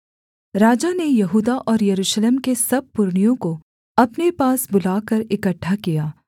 राजा ने यहूदा और यरूशलेम के सब पुरनियों को अपने पास बुलाकर इकट्ठा किया